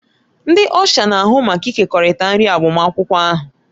Ndị Ọsha na-ahụ maka ịkekọrịta nri agbamakwụkwọ ahụ